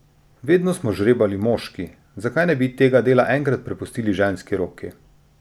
Vedno smo žrebali moški, zakaj ne bi tega dela enkrat prepustili ženski roki?